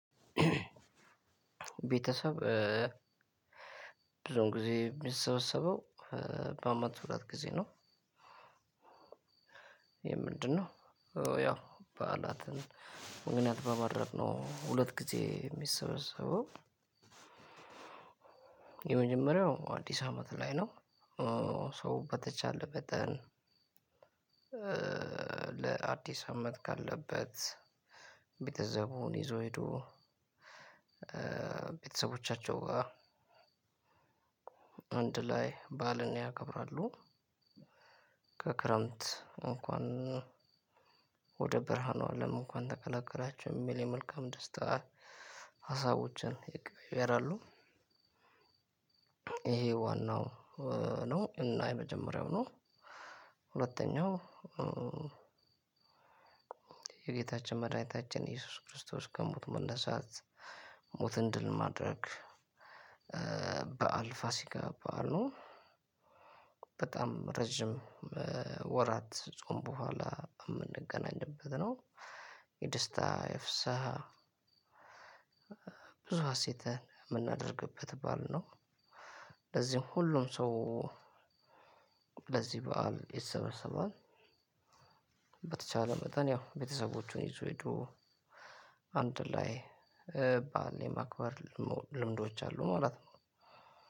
ቤተሰብ ብዙም ጊዜ የሚሰበሰበው በአመት ሁለት ጊዜ ነው። ይሄ ምንድነው? ያው በዓላትን ምክንያ በማድረግ ነው ሁለት ጊዜ። የሚሰበሰበው አዲስ አመት ላይ ነው። ሰው በተቻለ መጠን ለአዲስ አመት ካለበት ቤተሰቡን ይዞ ሄዶ ቤተሰቦቻቸው አንድ ላይ በዓልን ያከብራሉ። ከክረምት እንኳን ወደ ብርሁኑ አለም እንኳን ተቀላቀላችሁ የሚል የመልካም ደስታ አሳውጀን። ይሄ ዋናው ነው እና የመጀመሪያው ነው። ሁለተኛው የጌታችን የመድኃኒታችን ከሞቱ መነሳት ሞትን ድል ማድረግ በዓል ፋሲካ በዓል ነው። በጣም ረጅም ወራት ጾም በኋላ የምንገናኝበት ነው። የደስታ የፍስሃ ብዙ ሀሴት የምናደርግበት ባል ነው። ለዚህም ሁሉም ሰው ለዚህ በዓል ይሰበሰባል። በተቻለ መጠን ያው ቤተሰቦቹን ይዞ ሄዶ አንድ ላይ በዓልን የማክበር ልምዶች አሉ ማለት ነው።